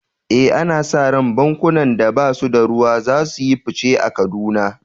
Eh, ana sa ran bankunan da ba su da ruwa za su yi fice a Kaduna.